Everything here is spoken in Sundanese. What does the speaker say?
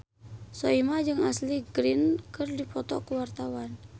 Soimah jeung Ashley Greene keur dipoto ku wartawan